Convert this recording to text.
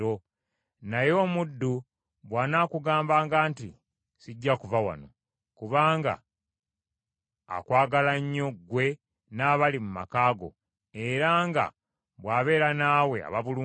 Naye omuddu bw’anaakugambanga nti, “Sijja kuva wano,” kubanga akwagala nnyo ggwe n’abali mu maka go, era nga bw’abeera naawe aba bulungi;